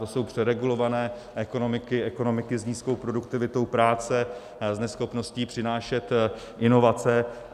To jsou přeregulované ekonomiky, ekonomiky s nízkou produktivitou práce, s neschopností přinášet inovace.